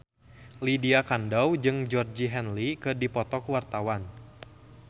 Lydia Kandou jeung Georgie Henley keur dipoto ku wartawan